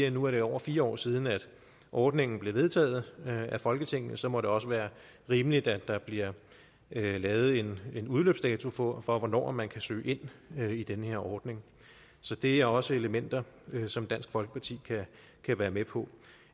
at nu er det over fire år siden at ordningen blev vedtaget af folketinget og så må det også være rimeligt at der bliver lavet en udløbsdato for for hvornår man kan søge ind i den her ordning så det er også elementer som dansk folkeparti kan være med på